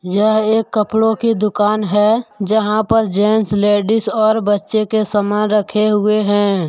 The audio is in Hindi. यह एक कपड़ों की दुकान है जहां पर जेंट्स लेडिस और बच्चे के सामान रखे हुए हैं।